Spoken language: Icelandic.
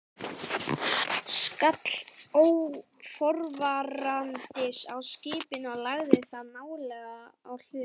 skall óforvarandis á skipinu og lagði það nálega á hliðina.